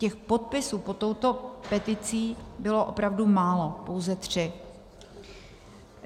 Těch podpisů pod touto peticí bylo opravdu málo, pouze tři.